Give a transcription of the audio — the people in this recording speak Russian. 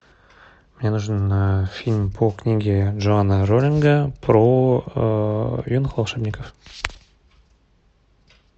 мне нужен фильм по книге джоана роулинга про юных волшебников